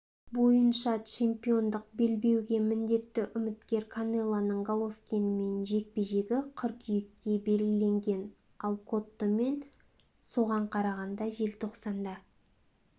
бойынша чемпиондық белбеуге міндетті үміткер канелоның головкинмен жекпе-жегі қыркүйекке белгіленген ал коттомен соған қарағанда желтоқсанда